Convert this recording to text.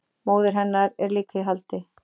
Móðir hennar er líka í haldi